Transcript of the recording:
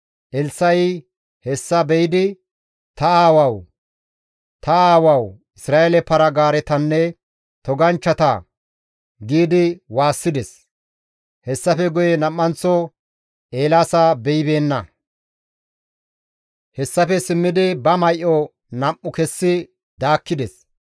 Elssa7i hessa be7idi, «Ta aawawu! Ta aawawu! Isra7eele para-gaaretanne toganchchata!» giidi waassides; hessafe guye nam7anththo Eelaasa beyibeenna; hessafe simmidi ba may7o nam7u kessi daakkides.